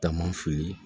Taama fili